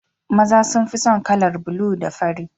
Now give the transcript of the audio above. Maza sun fi son kalar bulu da fari